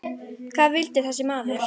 Hvað vildi þessi maður?